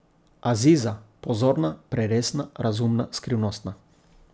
Aziza, pozorna, preresna, razumna, skrivnostna.